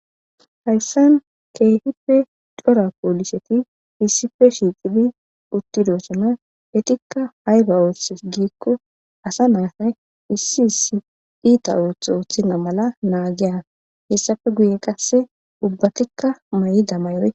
Hayisan kehipe daro cora poliset issipe shiqid utidosona. Etika ayiba othizona giko asa na7ay isi isi ita otho othena mala nagiy hedape guyen qase ubatika mayida mayoy...